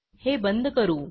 हे बंद करू